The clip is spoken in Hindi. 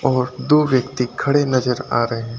और दो व्यक्ति खड़े नजर आ रहे हैं।